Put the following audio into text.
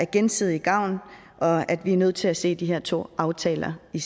gensidig gavn og at vi er nødt til at se de her to aftaler i